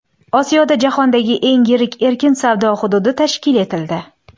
Osiyoda jahondagi eng yirik erkin savdo hududi tashkil etildi.